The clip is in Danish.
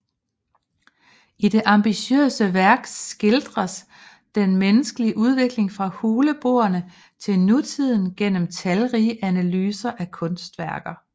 I det ambitiøse værk skildres den menneskelige udvikling fra huleboerne til nutiden gennem talrige analyser af kunstværker